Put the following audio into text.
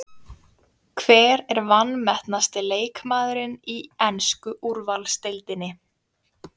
Hver er vanmetnasti leikmaðurinn í ensku úrvalsdeildinni?